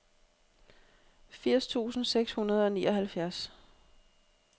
firs tusind seks hundrede og nioghalvfjerds